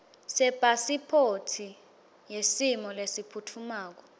sepasiphothi yesimo lesiphutfumako